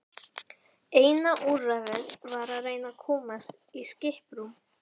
Eina úrræðið var að reyna að komast í skiprúm.